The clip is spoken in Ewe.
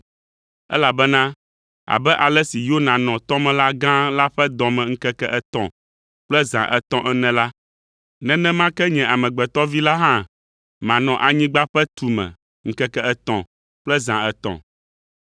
elabena abe ale si Yona nɔ tɔmelã gã la ƒe dɔ me ŋkeke etɔ̃ kple zã etɔ̃ ene la, nenema ke nye Amegbetɔ Vi la hã manɔ anyigba ƒe tu me ŋkeke etɔ̃ kple zã etɔ̃.